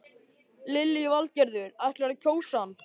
Lillý Valgerður: Ætlarðu að kjósa hann?